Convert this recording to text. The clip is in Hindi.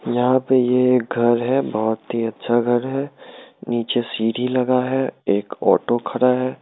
यहाँ पे ये एक घर है बहुत ही अच्छा घर है नीचे सीढ़ी लगा है एक ओटो खड़ा है।